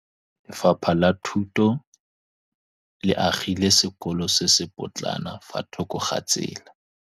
Lefapha la Thuto le agile sekôlô se se pôtlana fa thoko ga tsela.